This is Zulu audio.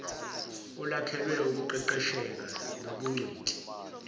olwakhelwe ukuqeqesheka nobungcweti